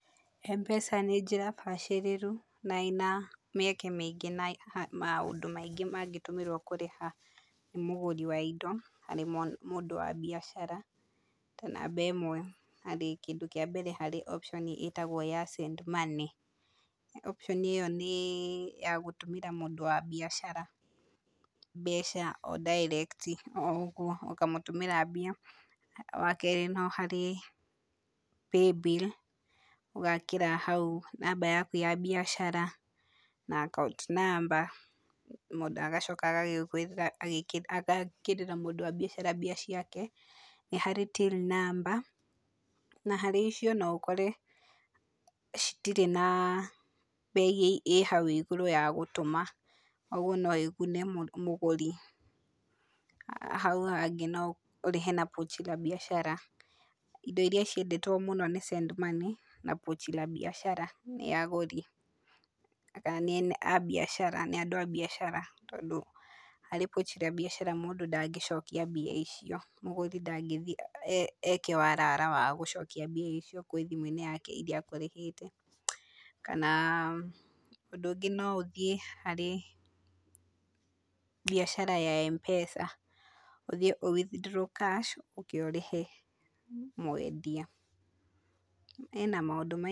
Mpesa nĩ njĩra bacĩrĩru na ĩna mĩeke mĩingĩ ya na maũndũ maingĩ mangĩtũmĩrwo kũrĩha mũgũri wa indo arĩ mũhũri biacara ta namba ĩmwe harĩ kĩndũ kĩa mbere harĩ option ĩtagwo ya send money, option ĩyo nĩ ya gũtũmíra mũndũ wa biacara mbeca direct o ũguo, ũkamũtũmĩra mbia, wa kerĩ no harĩ paybill, ũgekĩra hau namba yaku ya mbicara na akaunti namba, mũndũ agacoka agagwĩthĩ aga agekĩrĩra mũndũ wa biacara mbia ciake, nĩharĩ till number, na harĩ icio noũkore, citirĩ na mbei ĩ hau igũrũ ya gũtũma ũguo noĩgune mũgũri, hau hangĩ noũrĩhe na pochi la biashara, indo iria ciendetwo mũno nĩ send money, na pochi la biashara nĩ agũri, agayani a baicar nĩ andũ a biacara tondũ harĩ pochi la biashara mũndũ ndangĩcokia mbia icio, múgũri ndangĩthi eke warara wa gũcokia mbia icio kwĩ thimũ-inĩ yake iria atarĩhĩte, kana ũndũ ũngĩ noũthiĩ harĩ, biacara ya Mpesa, ũthi ũ withdraw cash ũke ũrĩhe mwendia, ĩna maũndũ maingĩ.